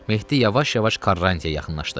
Mehdi yavaş-yavaş Quaranti-yə yaxınlaşdı.